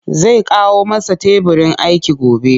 Zai kawo masa teburin aiki gobe